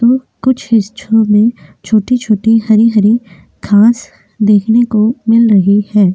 तो कुछ हिस्सों में छोटी-छोटी हरि-हरि घाँस देखने को मिल रही है।